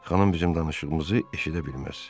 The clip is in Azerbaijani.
Xanım bizim danışığımızı eşidə bilməz.